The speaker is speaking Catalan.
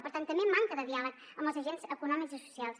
per tant també manca de diàleg amb els agents econòmics i socials